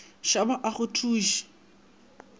shaba a go thu se